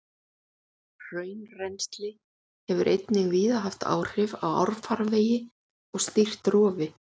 Hraunrennsli hefur einnig víða haft áhrif á árfarvegi og stýrt rofi.